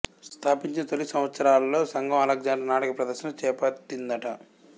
స్ధాపించిన తొలి సంవత్సరాలలో సంఘం అలెగ్జాండర్ నాటక ప్రదర్శన చేపట్టిందట